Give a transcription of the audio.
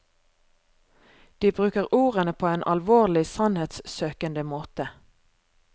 De bruker ordene på en alvorlig sannhetssøkende måte.